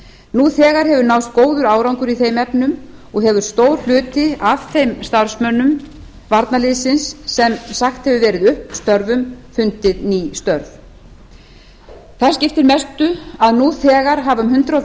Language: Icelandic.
nú þegar hefur náðst mjög góður árangur í þeim efnum og hefur stór hluti af þeim starfsmönnum varnarliðsins sem sagt hefur verið upp störfum fundið ný störf það skiptir mestu að nú þegar hafa um tvö hundruð